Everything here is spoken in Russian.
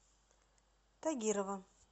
тагирова